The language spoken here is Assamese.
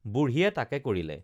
বুঢ়ীয়ে তাকে কৰিলে